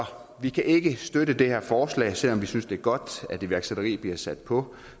vi kan ikke støtte det her forslag selv om vi synes det er godt at iværksætteri bliver sat på